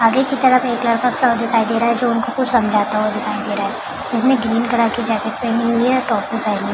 आगे की तरफ एक लड़का खड़ा दिखाई दे रहा है जो उनको कुछ समझाता हुआ दिखाई दे रहा उसने ग्रीन कलर की जैकेट पहनी हुई है टोपी पहनी हुई --